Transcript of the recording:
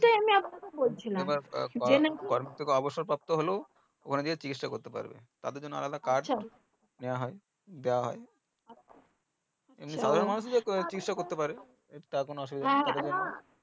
অবশ্য তত্ত্ব হলো ওখানে গিয়ে চিকিৎসা করতে পারবে তাদের জন্য আলাদা কাজ দিয়া হয় তার কোনো